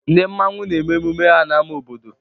Ndị Mmanwu na-eme emume ha n'ámá obodo.